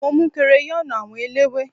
mo mu crayon àwọn ẹlẹwe